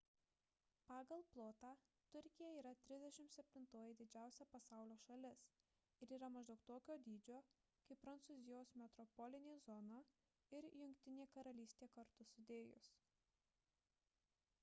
pagal plotą turkija yra 37-oji didžiausia pasaulio šalis ir yra maždaug tokio dydžio kaip prancūzijos metropolinė zona ir jungtinė karalystė kartu sudėjus